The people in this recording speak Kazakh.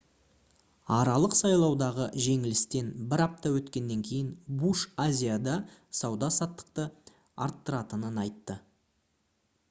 аралық сайлаудағы жеңілістен бір апта өткеннен кейін буш азияда сауда-саттықты арттыратынын айтты